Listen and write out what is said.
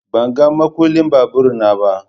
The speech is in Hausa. Ban gan makullin babur na ba.